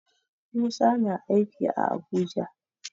Musa na aiki a Abuja.